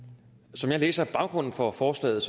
som jeg læser baggrunden for forslaget